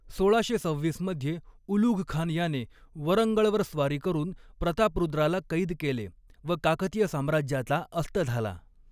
सोळाशे सव्हीस मध्ये उलुघखान याने वरंगळवर स्वारी करून प्रतापरुद्राला कैद केले व काकतीय साम्राज्याचा अस्त झाला.